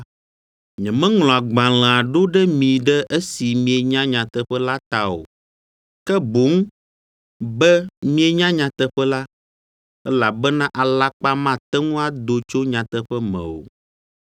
Nyemeŋlɔ agbalẽa ɖo ɖe mi ɖe esi mienya nyateƒe la ta o, ke boŋ be mienya nyateƒe la, elabena alakpa mate ŋu ado tso nyateƒe me o.